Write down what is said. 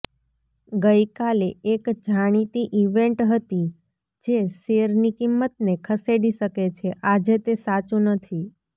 ગઇકાલે એક જાણીતી ઇવેન્ટ હતી જે શેરની કિંમતને ખસેડી શકે છે આજે તે સાચું નથી